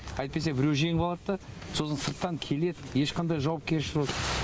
әйтпесе біреу жеңіп алады да сосын сырттан келеді ешқандай жауапкершілігі